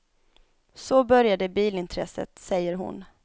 Så började bilintresset, säger hon.